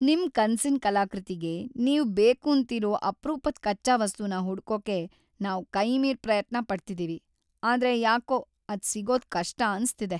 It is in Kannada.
ನಿಮ್‌ ಕನ್ಸಿನ್‌ ಕಲಾಕೃತಿಗೆ ನೀವ್ ಬೇಕೂಂತಿರೋ ಅಪ್ರೂಪದ್‌ ಕಚ್ಚಾ ವಸ್ತುನ ಹುಡ್ಕೋಕೆ ನಾವ್‌ ಕೈಮೀರ್ ಪ್ರಯತ್ನ ಪಡ್ತಿದೀವಿ, ಆದ್ರೆ ಯಾಕೋ ಅದ್ ಸಿಗೋದ್ ಕಷ್ಟ ಅನ್ಸ್ತಿದೆ.